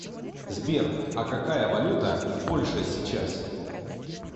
сбер а какая валюта в польше сейчас